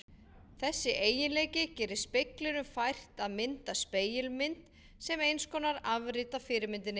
Þessi eiginleiki gerir speglinum fært að mynda spegilmynd sem eins konar afrit af fyrirmyndinni.